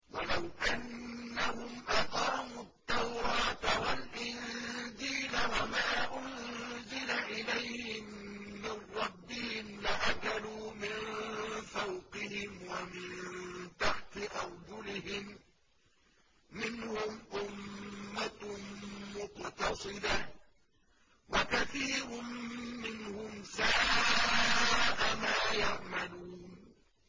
وَلَوْ أَنَّهُمْ أَقَامُوا التَّوْرَاةَ وَالْإِنجِيلَ وَمَا أُنزِلَ إِلَيْهِم مِّن رَّبِّهِمْ لَأَكَلُوا مِن فَوْقِهِمْ وَمِن تَحْتِ أَرْجُلِهِم ۚ مِّنْهُمْ أُمَّةٌ مُّقْتَصِدَةٌ ۖ وَكَثِيرٌ مِّنْهُمْ سَاءَ مَا يَعْمَلُونَ